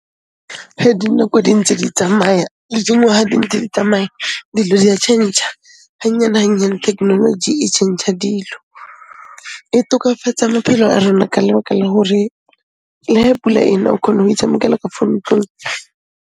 Ge dinako di ntse di tsamaya le dingwaha di ntse di tsamaya, dilo di a tšhentšha, hannyane-hannyane thekenoloji e tšhentšha dilo. E tokafatsa maphelo a rona ka lebaka la hore le he pula e na, o khona o itshamekela ka fo ntlong.